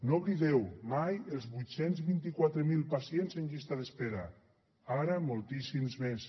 no oblideu mai els vuit cents i vint quatre mil pacients en llista d’espera ara moltíssims més